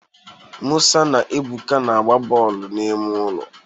Musa na Ebuka na-agba bọọlụ n'ime ụlọ